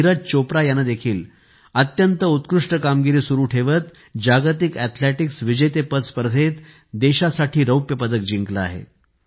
नीरज चोप्रा यानेदेखील अत्यंत उत्कृष्ट कामगिरी सुरु ठेवत जागतिक अॅथलेटिक्स विजेतेपद स्पर्धेत देशासाठी रौप्य पदक जिंकले आहे